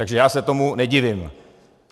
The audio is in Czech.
Takže já se tomu nedivím.